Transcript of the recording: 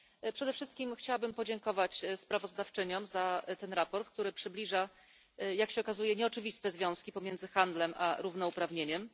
Przede wszystkim chciałabym podziękować sprawozdawczyniom za to sprawozdanie, które przybliża jak się okazuje nieoczywiste związki między handlem a równouprawnieniem.